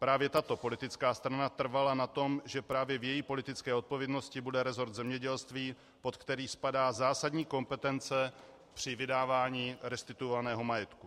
Právě tato politická strana trvala na tom, že právě v její politické odpovědnosti bude rezort zemědělství, pod který spadá zásadní kompetence při vydávání restituovaného majetku.